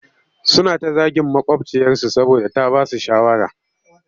Suna ta zagin maƙwabciyarsu saboda ta ba su shawara